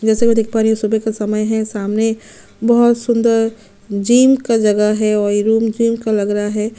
जैसे मैं देख पा रही हूँ सुबह का समय है सामने बहुत सुन्दर जिम का जगह है और ये रूम जिम का लग रहा है।